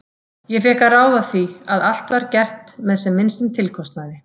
Ég fékk að ráða því að allt var gert með sem minnstum tilkostnaði.